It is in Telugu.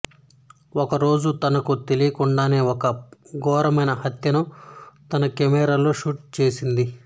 ఒకరోజు తనకు తెలియకుండానే ఒక ఘోరమైన హత్యను తన కెమేరాలో షూట్ చేస్తుంది